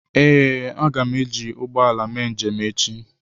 Ee, a ga m eji ụgbọ ala mee njem echi.